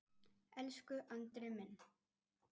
Elsku Andri minn.